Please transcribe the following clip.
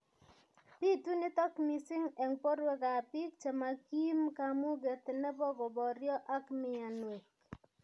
Bitu nitok mising eng' borwekab biik chemakim kamuget nebo koboryo ak myanwek